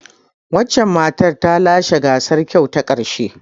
Wancan matar ta lashe gasar kyau ta karshe.